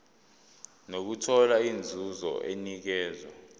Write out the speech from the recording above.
nokuthola inzuzo enikezwa